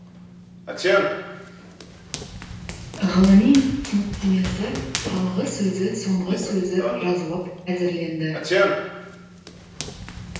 ғылыми түсініктемесі алғысөзі соңғысөзі жазылып әзірленді